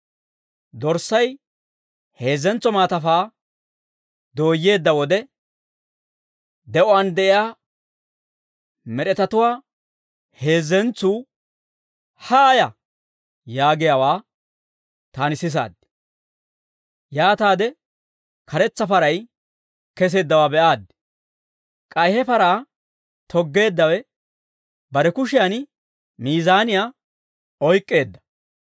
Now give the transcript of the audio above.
Dorssay heezzentso maatafaa dooyyeedda wode, de'uwaan de'iyaa med'etatuwaa heezzentsuu, «Haaya!» yaagiyaawaa, taani sisaad. Yaataade karetsa paray keseeddawaa be'aaddi; k'ay he paraa toggeeddawe bare kushiyan miizaniyaa oyk'k'eedda.